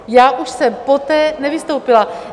Já už jsem poté nevystoupila.